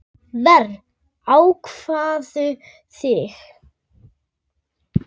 Verr, hváðum við.